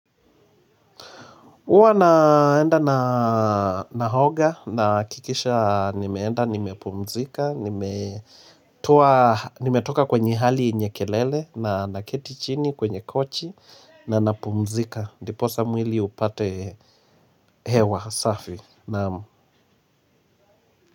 Huwa naenda naoga nahakikisha nimeenda nimepumzika. Nimetoka kwenye hali yenye kelele na naketi chini kwenye kochi na napumzika. Ndipo saa mwili upate hewa safi naam.